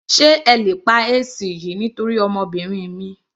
Sé ẹ lè pa AC yìí nítorí ọmọbìnrin mi.